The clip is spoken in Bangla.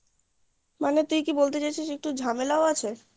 মানে তুই কি বলতে চাইছিস যে একটু ঝামেলাও আছে